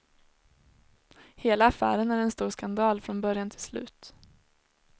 Hela affären är en stor skandal från början till slut.